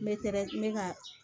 Me tere n bɛ ka